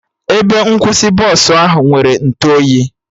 Ebe nkwụsị Bọsụ ahụ nwere ntụ oyi